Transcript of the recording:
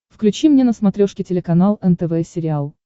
включи мне на смотрешке телеканал нтв сериал